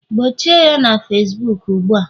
gbochie ya na Facibuku ugbu a!